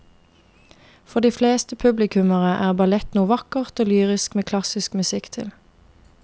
For de fleste publikummere er ballett noe vakkert og lyrisk med klassisk musikk til.